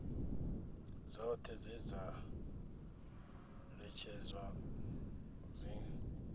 dzoṱhe dze dza ṅetshedzwa dzi